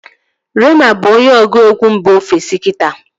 Reema bụ onye ọgụegwu mba ofesi kita